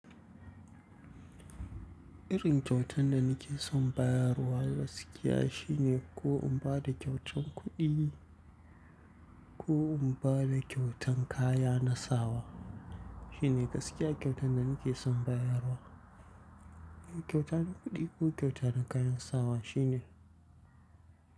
Irin kyautan da nake son bayarwa gaskiya shine ko in bada kyautan kuɗi ko in bada kyautan kaya na sawa shine gaskiya kyautan da nake son bayarwa. Kyautan kuɗi ko kyauta na kayan sawa shine.